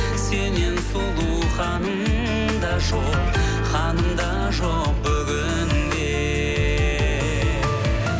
сеннен сұлу ханым да жоқ ханым да жоқ бүгінде